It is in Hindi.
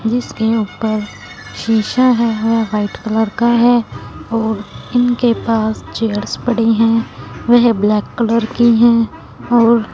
जिसके ऊपर शिशा हैं व्हाइट कलर का हैं और इनके पास चेयर्स पडी हैं वेह ब्लैक कलर की हैं और --